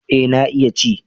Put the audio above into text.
Eh na iya ci